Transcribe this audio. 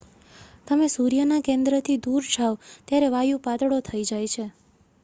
તમે સૂર્યના કેન્દ્રથી દૂર જાવ ત્યારે વાયુ પાતળો થઈ જાય છે